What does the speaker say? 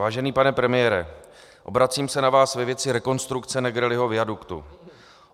Vážený pane premiére, obracím se na vás ve věci rekonstrukce Negrelliho viaduktu.